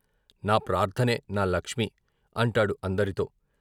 నా ప్రార్థనే నా లక్ష్మి అంటాడు అందరితో.